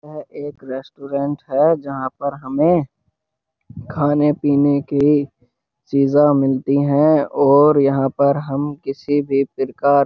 ये एक रेस्टोरेंट है जहाँ पर हमें खाने पीने की चीज मिलती हैं और यहाँ पर हम किसी भी प्रकार --